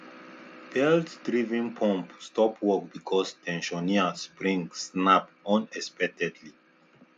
belt driven pump stop work because ten sioner spring snap unexpectedly